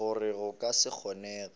gore go ka se kgonege